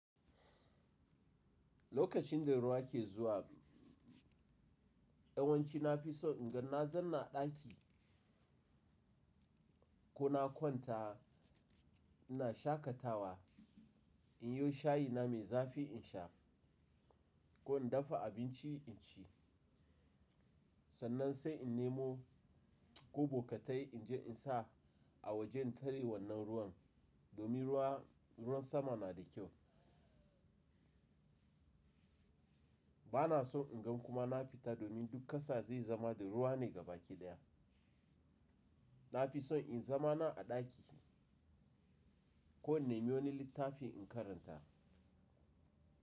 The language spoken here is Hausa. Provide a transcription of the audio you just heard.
Lokacin da ruwa ke zuwa, yawanci na fi son in ga na zauna a ɗaki ko na kwanta ina shakatawa inyo shayina mai zafi insha ko indafa abinci inci. Sannan sai in nemo ko bokite inje insa a wajen tare wannan ruwan, domin ruwan sama na da kyau. Ba na son inga kuma nafita domin duk ƙasa zai zama da ruwa ne gabakiɗaya. Na fi son in zama na a ɗaki ko innemo wani littafi in karanta.